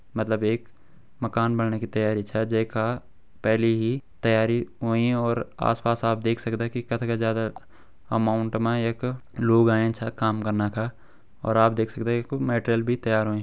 मतलब एक मकान बणने की तैयारी चा जै का पहली ही तैयारी होईं और आस पास आप देख सकदा की कदका ज्यादा अमाउंट मा यख लोग आयां छा काम कना का और आप देख सकदा यख मटेरियल भी तैयार होयुं।